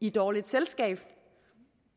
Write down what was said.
i dårligt selskab